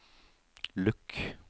lukk